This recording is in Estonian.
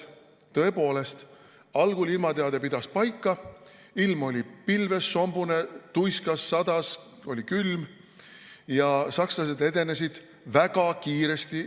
Tõepoolest, algul ilmateade pidas paika, ilm oli pilves, sombune, tuiskas, sadas, oli külm ja sakslased edenesid väga kiiresti.